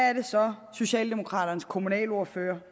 er det så socialdemokraternes kommunalordfører